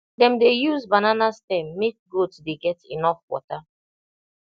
dem dey use banana stem make goat dey get enough water